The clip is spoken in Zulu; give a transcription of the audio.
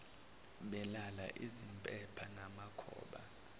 belala izimpepha namakhoba